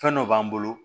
Fɛn dɔ b'an bolo